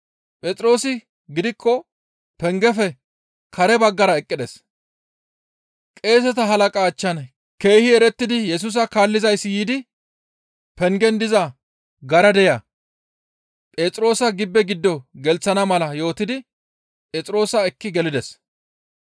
Phexroosi gidikko pengefe kare baggara eqqides; qeeseta halaqa achchan keehi erettidi Yesusa kaallizayssi yiidi pengen diza garadeya Phexroosa gibbe giddo gelththana mala yootidi Phexroosa ekki gelides.